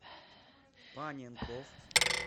паненков